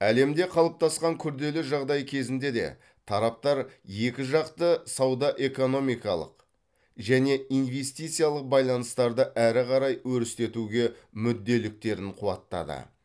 әлемде қалыптасқан күрделі жағдай кезінде де тараптар екіжақты сауда экономикалық және инвестициялық байланыстарды әрі қарай өрістетуге мүдделіліктерін қуаттады